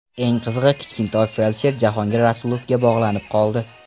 Eng qizig‘i Kichkintoy feldsher Jahongir Rasulovga bog‘lanib qoldi.